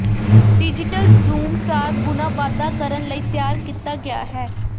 digital zoom ਚਾਰ ਗੁਣਾ ਵਾਧਾ ਕਰਨ ਲਈ ਤਿਆਰ ਕੀਤਾ ਗਿਆ ਹੈ